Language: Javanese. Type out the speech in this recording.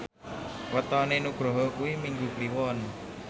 wetone Nugroho kuwi Minggu Kliwon